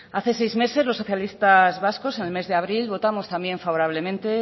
hace seis meses los socialistas vascos en el mes de abril votamos también favorablemente